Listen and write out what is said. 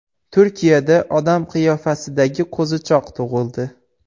Turkiyada odam qiyofasidagi qo‘zichoq tug‘ildi .